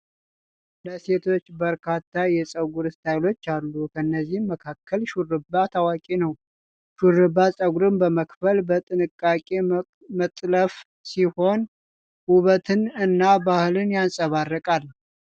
ለሴቶች በርካታ የፀጉር ስታይሎች አሉ። ከእነዚህም መካከል ሹሩባ ታዋቂ ነው። ሹሩባ ፀጉርን በመክፈል በጥንቃቄ መጥለፍ ሲሆን፣ ውበትን እና ባህልን ያንፀባርቃል።